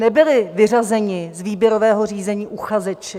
Nebyli vyřazeni z výběrového řízení uchazeči.